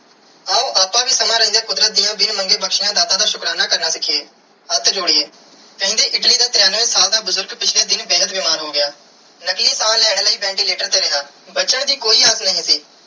ਆਓ ਆਪ ਵੀ ਸਮੇ ਰੈਂਡੀਆ ਕੁਦਰਤ ਦੀਆ ਬਿਨ ਮੰਗੇ ਬਖਸ਼ਿਆ ਦਾਤਾ ਦਾ ਸਿਖੀਏ ਹੱਥ ਜੋੜੀਏ ਕੈਂਦੀ ਇਟਲੀ ਦਾ ਤ੍ਰਿਣਵੇ ਸਾਲ ਦਾ ਬੁਜ਼ਰਗ ਪਿਛਲੇ ਦਿਨ ਬੇਹੱਦ ਬਿਮਾਰ ਹੋ ਗਿਆ ਨਕਲੀ ਸਾਹ ਲੈਣ ਲਾਇ ventilator ਤੇ ਰਿਆ ਬਚਨ ਦੀ ਕੋਈ ਆਗਿਆ ਨਾਈ ਸੀ.